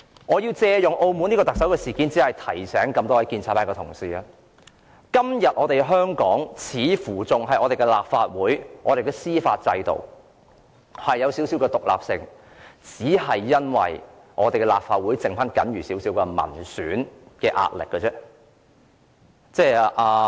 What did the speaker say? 我借用澳門特首事件，想提醒各位建制派同事，今天香港的立法會、司法制度似乎仍有一點獨立性，只是因為立法會僅餘少許民選壓力。